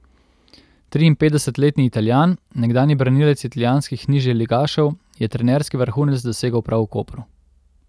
Triinpetdesetletni Italijan, nekdanji branilec italijanskih nižjeligašev, je trenerski vrhunec dosegel prav v Kopru.